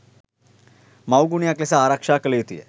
මවුගුණයක් ලෙස ආරක්ෂා කළ යුතුය